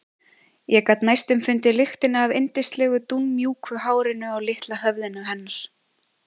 Ég gat næstum fundið lyktina af yndislegu dúnmjúku hárinu á litla höfðinu hennar.